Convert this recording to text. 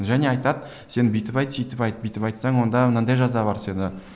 және айтады сен бүйтіп айт сөйтіп айт бүйтіп айтсаң онда мынадай жаза бар сені